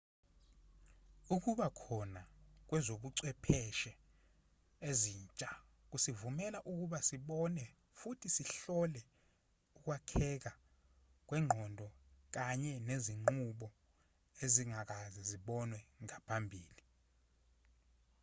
ukuba khona kwezobuchwepheshe ezintsha kusivumela ukuba sibone futhi sihlole ukwakheka kwengqondo kanye nezinqubo ezingakaze zibonwe ngaphambili